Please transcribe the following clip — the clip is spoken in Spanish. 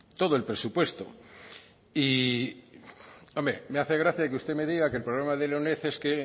todo el presupuesto me hace gracia que usted me diga que el problema de la uned es que